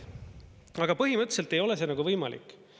Aga põhimõtteliselt ei ole see nagu võimalik.